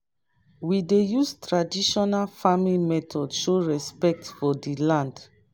we dey use traditional farming method show respect for di land.